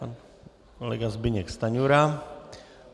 Pan kolega Zbyněk Stanjura.